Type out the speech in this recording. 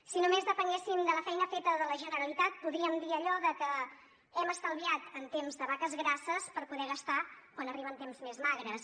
si només depenguéssim de la feina feta de la generalitat podríem dir allò de que hem estalviat en temps de vaques grasses per poder gastar quan arriben temps més magres